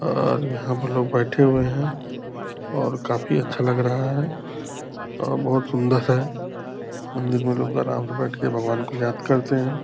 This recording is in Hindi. और यहाँ पर लोग बैठे हुए हैं और काफी अच्छा लग रहा है और बहुत सुंदर से मंदिर में लोग बराबर बैठ के भगवान को याद करते हैं।